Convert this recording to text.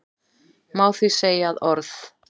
Má því segja að orð